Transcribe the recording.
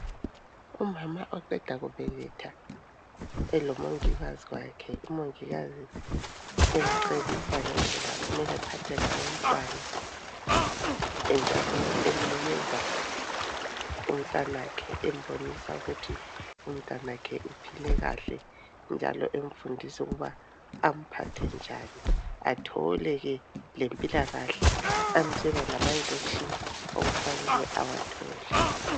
Umama oqeda kubeletha elomongikazi wakhe umongikazi emcebisa ngendlela okufanele aphathe ngayo umntwana, njalo emnikeza umntanakhe embonisa ukuthi umntanakhe uphile kahle njalo emfundisa ukuba amphathe njani athole ke lempilakahle amtshela lamanjekishini okufanele awathole.